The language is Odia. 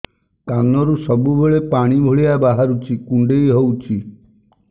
କାନରୁ ସବୁବେଳେ ପାଣି ଭଳିଆ ବାହାରୁଚି କୁଣ୍ଡେଇ ହଉଚି